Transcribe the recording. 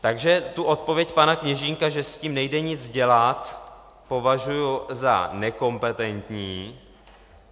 Takže tu odpověď pana Kněžínka, že s tím nejde nic dělat, považuji za nekompetentní.